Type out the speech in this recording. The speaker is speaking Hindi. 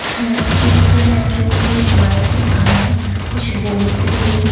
है स्पीकर है जो कि एक माइक के सामने कुछ बोलती हुई--